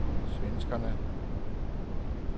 svenskerne